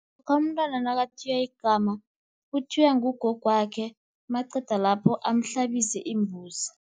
Umntwana nakathiywa igama uthiywa ngugogwakhe, maqeda lapho amhlabise imbuzi.